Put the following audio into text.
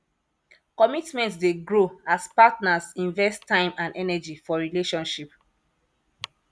commitment dey grow as partners invest time and energy for relationship